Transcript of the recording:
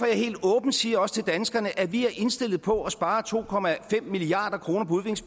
jeg helt åbent siger til danskerne at vi er indstillet på at spare to milliard kroner